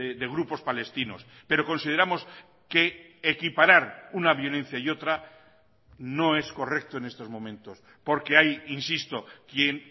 de grupos palestinos pero consideramos que equiparar una violencia y otra no es correcto en estos momentos porque hay insisto quien